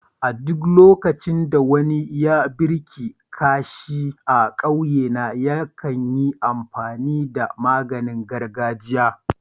A duk lokacin da wani ya birki kashi a ƙauyena, yakan yi amfani da maganin gargajia.